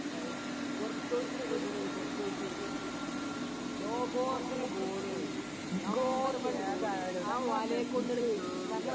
എടാ ഈ കോർടോയിസ് ന്നു കെട്ടിടുണ്ടോ കോർടോയിസ്. ലോകോത്തര ഗോളിയാണ് നമ്പർ വൺ ഗോളി ആ വലേക്കൊന്നും അങ്ങട് കേറൂല